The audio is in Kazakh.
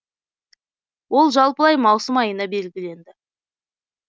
ол жалпылай маусым айына белгіленді